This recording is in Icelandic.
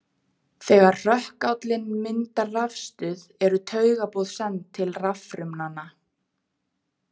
Þegar hrökkállinn myndar rafstuð eru taugaboð send til raffrumnanna.